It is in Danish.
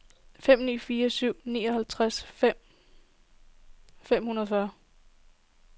fem ni fire syv nioghalvtreds fem hundrede og treogfyrre